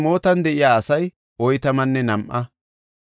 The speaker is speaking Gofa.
Sana7an de7iya asay 3,930.